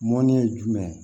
Mɔnni ye jumɛn ye